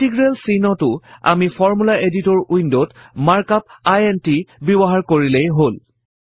integral চিহ্নটো আমি formula editor Window ত মাৰ্ক আপ ইণ্ট ব্যৱহাৰ কৰিলেই হল